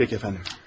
Pəki əfəndim.